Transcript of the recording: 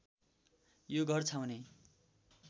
यो घर छाउने